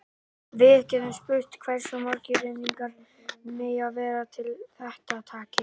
Við getum spurt hversu margir renningarnir mega vera til að þetta takist.